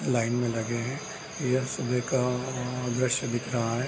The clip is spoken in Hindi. लाइन में लगे हैं यह सुबह का अ अ दृश्य दिख रहा है।